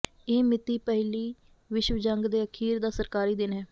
ਇਹ ਮਿਤੀ ਪਹਿਲੀ ਵਿਸ਼ਵ ਜੰਗ ਦੇ ਅਖੀਰ ਦਾ ਸਰਕਾਰੀ ਦਿਨ ਹੈ